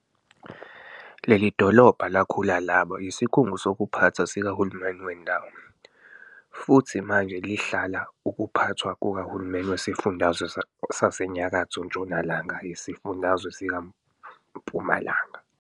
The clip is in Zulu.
Leli dolobha lakhula laba yIsikhungo sokuphatha sikahulumeni wendawo, futhi manje lihlala ukuphathwa kukahulumeni weSifundazwe saseNyakatho Ntshonalanga yeSifundazwe sikaMpumalanga.